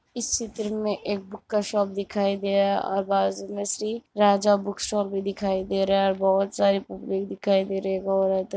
इस चित्र में एक बुक का शॉप दिखाई दिया और बाजु में श्री राजा बुक शॉप भी दिखाई दे रहा है और बोहोत सारे बुक भी दिखाई दे रही है और बोहोत --